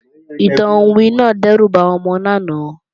Ìtàn iwin náà dẹ́rù ba àwọn ọmọ lánàá